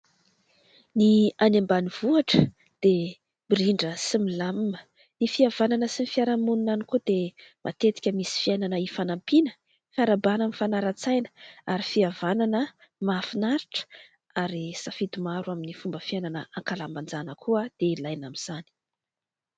Ny any ambanivohitra dia mirindra sy milamima. Ny fihavanana sy ny fiarahamonina any koa dia matetika misy fiainana hifanampiana, fiarahabana, mifanaran-tsaina ary fihavanana mahafinaritra ary safidy maro amin'ny fomba fiainana an-kalamanjana koa dia ilaina amin'izany.